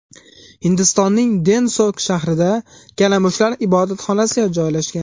Hindistonning Denshok shahrida kalamushlar ibodatxonasi joylashgan.